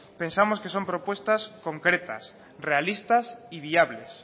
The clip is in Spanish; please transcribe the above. pensamos que son propuestas concretas realistas y viables